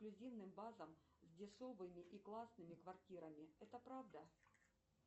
эксклюзивная база с дешевыми и классными квартирами это правда